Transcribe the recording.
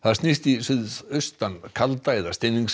snýst í suðaustan kalda eða